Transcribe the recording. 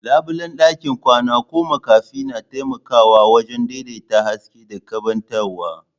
Labulen ɗakin kwana ko makafi na taimakawa wajen daidaita haske da keɓantawa.